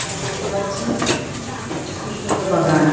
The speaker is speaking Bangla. তারা দেখতে পাচ্ছি একটি খুব সুন্দর একটি বাগান ।